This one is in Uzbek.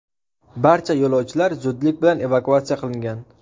Barcha yo‘lovchilar zudlik bilan evakuatsiya qilingan.